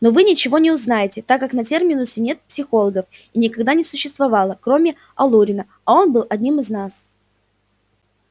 но вы ничего не узнаете так как на терминусе нет психологов и никогда не существовало кроме алурина а он был одним из нас